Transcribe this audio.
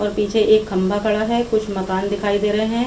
और पीछे एक खंभा पड़ा हैं कुछ मकान दिखाई दे रहे हैं।